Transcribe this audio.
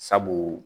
Sabu